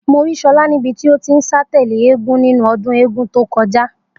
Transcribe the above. Mo rí So̩lá níbi tí ó ti ń sá tè̩lé eégún nínú o̩dún eégún tó ko̩já